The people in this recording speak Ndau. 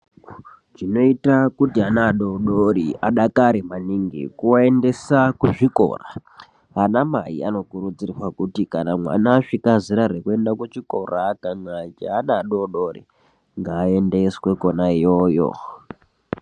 Zvinoita kuti ana adodori adakare maningi kuwayendisa kuzvikora. Anamai anokurudzirwa kuti kana mwana aswika zera rekuenda kuchikora achange ari adodori ngaendeswe khona yoyo.